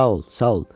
Sağ ol, sağ ol.